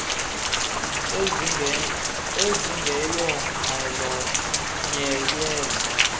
ezingeyo nxalenye yezo